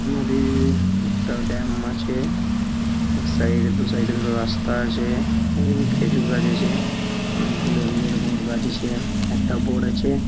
নদীর একটা ড্যাম আছে | এক সাইড -এ দু সাইড -এ দুটো রাস্তা আছে | এই দিকে খেজুর গাছ আছে অনেকগুলো এমনি এরকম গাছ আছে | একটা বোর্ড আছে।